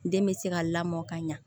Den bɛ se ka lamɔ ka ɲa